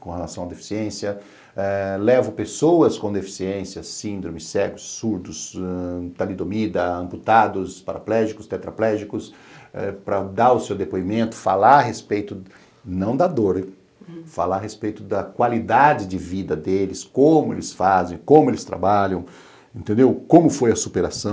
com relação à deficiência, eh levo pessoas com deficiência, síndrome, cegos, surdos, talidomida, amputados, paraplégicos, tetraplégicos, para dar o seu depoimento, falar a respeito, não da dor, falar a respeito da qualidade de vida deles, como eles fazem, como eles trabalham, entendeu, como foi a superação.